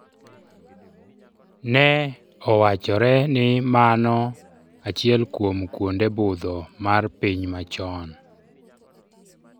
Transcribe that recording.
Ne owachore ni mano achiel kuom kwonde budho mar piny machon.